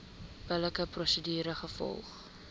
billike prosedure gevolg